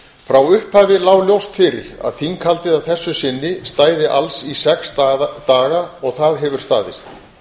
frá upphafi lá ljóst fyrir að þinghaldið að þessu sinni stæði alls í sex daga og það hefur staðist